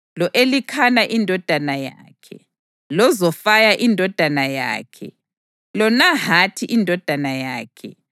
lo-Elikhana indodana yakhe, loZofayi indodana yakhe, loNahathi indodana yakhe,